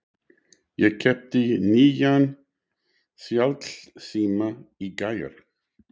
Ég keypti nýjan snjallsíma í gær.